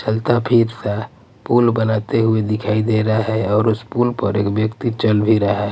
चलता फिरता पुल बनाते हुए दिखाई दे रहा है और उस पुल पर एक व्यक्ति चल भी रहा है.